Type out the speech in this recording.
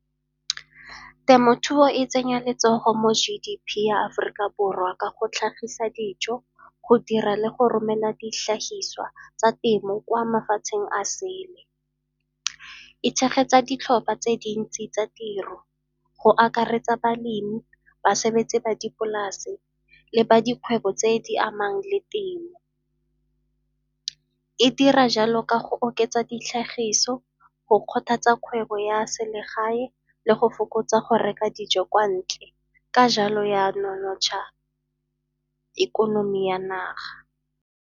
Temothuo e tsenya letsogo mo G_D_P ya Aforika Borwa ka go tlhagisa dijo, go dira le go romela ditlhagiswa tsa temo kwa mafatsheng a sele. E tshegetsa ditlhopha tse dintsi tsa tiro, go akaretsa balemi, basebetsi ba dipolase le badiri kgwebo tse di amang le temo. E dira jalo ka go oketsa ditlhagiso go kgothatsa kgwebo ya selegae le go fokotsa go reka dijo kwa ntle, ka jalo ya nonotsha ikonomi ya naga.